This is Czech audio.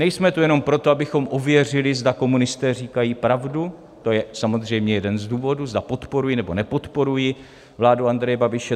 Nejsme tu jenom proto, abychom ověřili, zda komunisté říkají pravdu - to je samozřejmě jeden z důvodů - zda podporují, nebo nepodporují vládu Andreje Babiše.